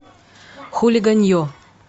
хулиганье